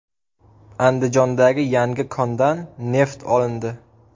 Andijondagi yangi kondan neft olindi.